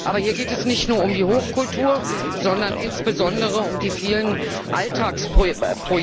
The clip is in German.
Aber hier geht es nicht nur um die Hochkultur, sondern insbesondere um die vielen Alltagsprojekte.